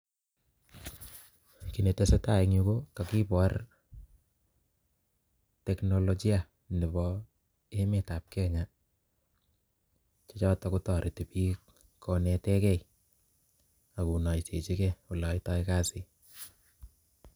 Kiy neteseitai eng yu kakibor technologia nebo emetab kenya chotok kotareti bik konetegei ak konoisechigei ole aitoi kazi